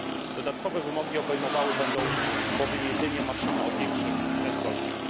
Dodatkowe wymogi obejmowały będą bowiem jedynie maszyny o większych prędkościach.